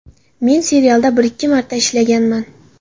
Men serialda bir-ikki marta ishlaganman.